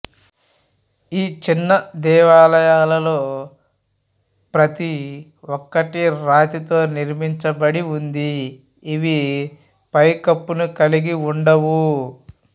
ఈ చిన్న దేవాలయాలలో ప్రతి ఒక్కటి రాతి తో నిర్మించబడి ఉంది ఇవి పైకప్పును కలిగి ఉండవు